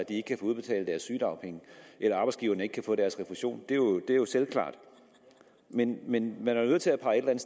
ikke kan få udbetalt deres sygedagpenge eller ikke kan få deres refusion det er jo selvklart men men man er nødt til at pege et